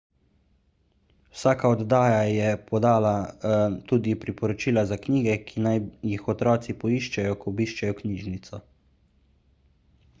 vsaka oddaja je podala tudi priporočila za knjige ki naj jih otroci poiščejo ko obiščejo knjižnico